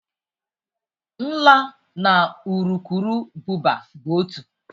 Nla na urukurubụba bụ otu.